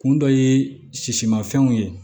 Kun dɔ ye sisimafɛnw ye